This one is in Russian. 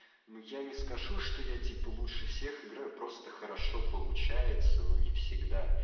ну я не скажу что я типа лучше всех играю просто хорошо получается но не всегда